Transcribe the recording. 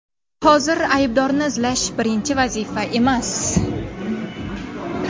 Hozir aybdorni izlash – birinchi vazifa emas.